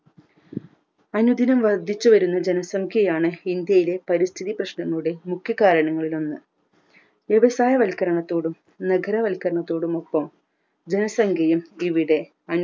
അനുദിനം വർദ്ധിച്ചുവരുന്ന ജനസംഖ്യയാണ് ഇന്ത്യയിലെ പരിസ്ഥിതി പ്രശ്നങ്ങളുടെ മുഘ്യ കാരണങ്ങളിലൊന്ന് വ്യവസായ വൽക്കണരത്തോടും നഗരവൽക്കരണത്തോടുമൊപ്പം ജനസംഖ്യയും ഇവിടെ